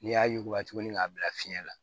N'i y'a yuguba tuguni k'a bila fiɲɛ na